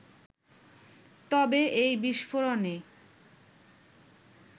তবে এই বিস্ফোরণে